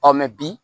mɛ bi